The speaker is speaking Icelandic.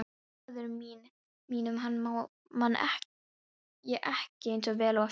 Föður mínum man ég ekki eins vel eftir og mömmu.